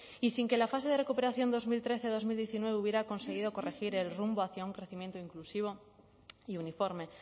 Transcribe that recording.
y sin que la fase de recuperación dos mil trece dos mil diecinueve hubiera conseguido corregir el rumbo hacia un crecimiento inclusivo y uniforme